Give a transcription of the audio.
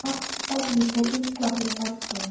Svo rennur upp fyrir mér ljós.